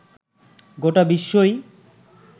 গোটা বিশ্বই